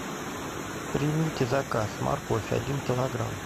примите заказ морковь один килограмм